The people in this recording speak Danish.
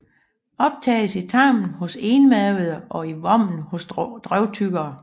Optages i tarmen hos enmavede og i vommen hos drøvtyggere